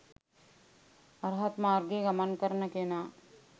අරහත් මාර්ගයේ ගමන් කරන කෙනා